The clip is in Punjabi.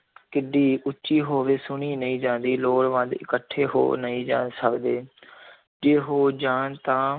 ਕਿੱਡੀ ਉੱਚੀ ਹੋਵੇ, ਸੁਣੀ ਨਹੀਂ ਜਾਂਦੀ, ਲੋੜਵੰਦ ਇਕੱਠੇ ਹੋ ਨਹੀਂ ਜਾ ਸਕਦੇ ਜੇ ਹੋ ਜਾਣ ਤਾਂ